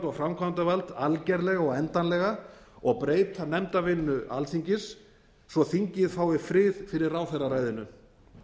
og framkvæmdavald algerlega og endanlega og breyta nefndarvinnu alþingis svo að þingið fái frið fyrir ráðherraræðinu